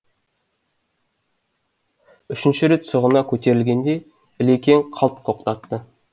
үшінші рет сұғына көтерілгенде ілекең қалт тоқтатты